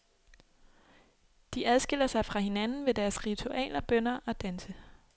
De adskiller sig fra hinanden ved deres ritualer, bønner og danse.